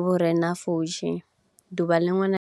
vhu re na pfushi ḓuvha ḽiṅwe na ḽiṅwe